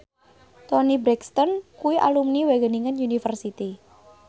Toni Brexton kuwi alumni Wageningen University